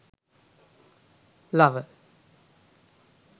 lover